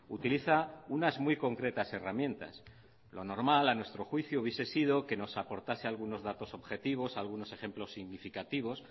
utiliza unas muy concretas herramientas lo normal a nuestro juicio hubiese sido que nos aportase algunos datos objetivos algunos ejemplos significativos